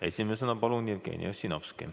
Esimesena palun siia Jevgeni Ossinovski.